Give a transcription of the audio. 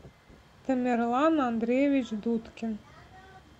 тамерлан андреевич дудкин